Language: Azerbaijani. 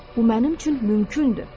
Bu mənim üçün mümkündür.